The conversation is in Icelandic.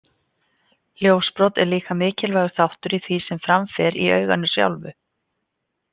Ljósbrot er líka mikilvægur þáttur í því sem fram fer í auganu sjálfu.